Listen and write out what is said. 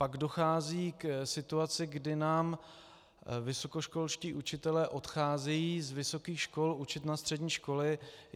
Pak dochází k situaci, kdy nám vysokoškolští učitelé odcházejí z vysokých škol učit na střední školy.